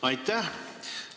Aitäh!